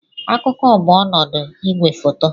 Akụkụ bụ ọnọdụ igwefoto.